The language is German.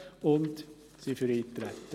Wir sind für das Eintreten.